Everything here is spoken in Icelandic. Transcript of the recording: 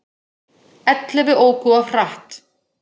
Ellefu óku of hratt